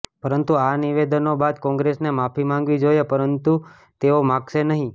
પરંતુ આ નિવેદનો બાદ કોંગ્રેસને માફી માંગવી જોયે પરંતુ તેઓ માગશે નહી